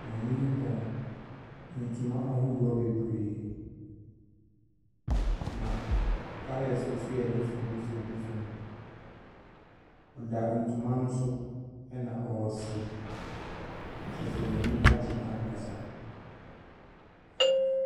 Maame no tɔn ntoma ahodoɔ bebree, na colors nso yɛ different, different different. Ɔda ntoma no so na ɔresere, kyerɛ sɛ n'ani agye ankasa.